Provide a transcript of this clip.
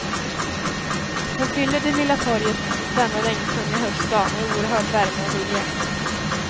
Hon fyller det lilla torget denna regntunga höstdag med oerhörd värme och vilja.